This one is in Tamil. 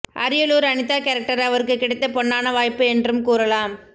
அரியலூர் அனிதா கேரக்டர் அவருக்கு கிடைத்த பொன்னான வாய்ப்பு என்றும் கூறலாம்